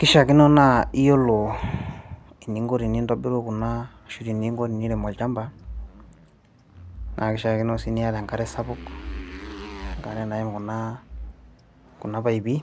kishiakino naa iyiolo eninko tenintobiru kuna ashu teninko enirem olchamba naa kishiakino sii niata enkare sapuk enkare naim kuna, kuna paipi